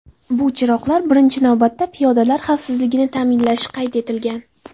Bu chiroqlar birinchi navbatda piyodalar xavfsizligini ta’minlashi qayd etilgan.